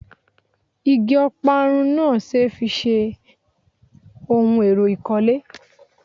Igi Ọparun náà ṣe fi ṣe ohun èrò ìkọ́lé